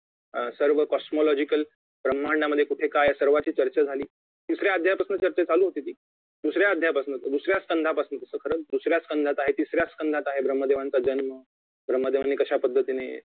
अं सर्व COSMOLOGICAL ब्रम्हांडामध्ये कुठे काय आहे सर्वाची चर्चा झाली तिसऱ्या अध्यायापासून चर्चा चालू होती ती दुसऱ्या अध्यायापासून दुसऱ्या संघापासून तो खरंच दुसऱ्या संघात आहे तिसऱ्या संघात आहे ब्रम्हदेवांचा जन्म ब्रम्हदेवाने कश्यापद्धतीने